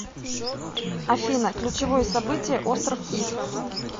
афина ключевое событие остров иф